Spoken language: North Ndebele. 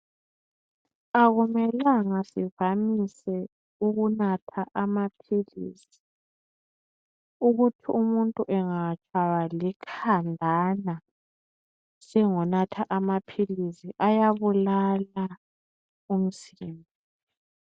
Akumelanga sivamise ukunatha amaphilisi. Ukuthi umuntu engatshaywa likhanjana, sengonatha amaphilisi. Ayabulala umzimba.